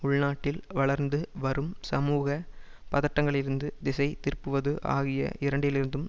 உள்நாட்டில் வளர்ந்து வரும் சமூக பதட்டங்களிலிருந்து திசை திருப்புவது ஆகிய இரண்டிலிருந்தும்